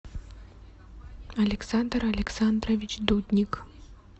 александр александрович дудник